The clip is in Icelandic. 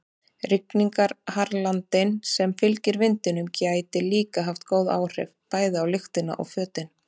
Rigningarhraglandinn sem fylgir vindinum gæti líka haft góð áhrif, bæði á lyktina og fötin.